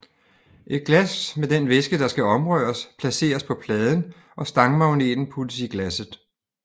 Et glas med den væske der skal omrøres placeres på pladen og stangmagneten puttes i glasset